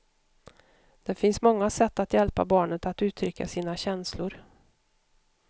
Det finns många sätt att hjälpa barnet att uttrycka sina känslor.